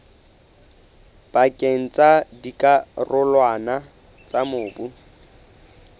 pakeng tsa dikarolwana tsa mobu